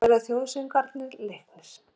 Nú verða þjóðsöngvarnir leiknir.